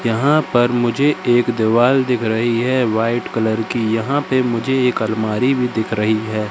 यहाँ पर मुझे एक दीवाल दिख रही है व्हाइट कलर की। यहाँ पे मुझे एक अलमारी भी दिख रही है।